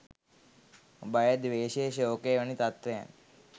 භය, ද්වේෂය, ශෝකය වැනි තත්ත්වයන්